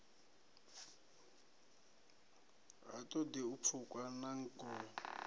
ha ṱoḓi u pfukwa nangoho